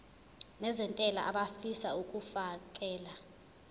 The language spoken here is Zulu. nezentela abafisa uukfakela